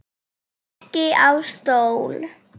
Ekki á stól.